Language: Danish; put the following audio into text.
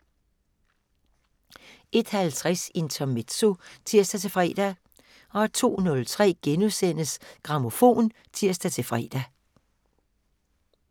01:50: Intermezzo (tir-fre) 02:03: Grammofon *(tir-fre)